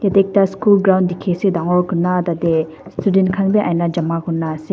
takda school ground dikey ase dangor kuri kena tai tey student khan b ahikena jama kuri kena ase.